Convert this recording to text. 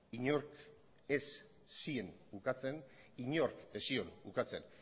inork ez zion ukatzen